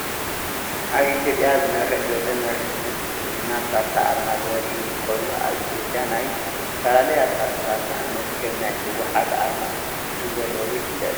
ኣብ ኢትዮጵያ ዝመርሕ ዘሎ መርሕነት ብልፅግና ፖርቲ ኣርማ ዘርኢ ኮይኑ ኣብ ኢትዮጵያ ናይ ዝተፈላለያ ፓርትታት ንኣብነት ከም ናይ ህወሓት ኣርማ ከምዘለው ይፍለጥ።